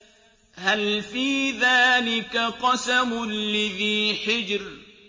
هَلْ فِي ذَٰلِكَ قَسَمٌ لِّذِي حِجْرٍ